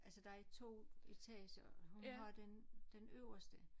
Altså der er 2 etager og hun har den den øverste